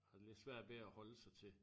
Har det lidt svært ved at holde sig til